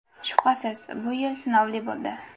Shubhasiz, bu yil sinovli bo‘ldi.